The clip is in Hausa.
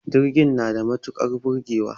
Jirgin na da matukar burgewa